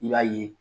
I b'a ye